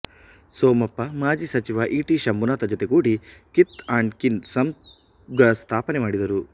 ಸೋಮಪ್ಪ ಮಾಜೀ ಸಚಿವ E T Shambhunath ಜತೆಗೂಡಿ ಕಿತ್ ಅಂಡ್ ಕಿನ್ ಸಂಘಸ್ಥಾಪನೆಮಾಡಿದರು